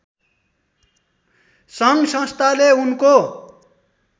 सङ्घसंस्थाले उनको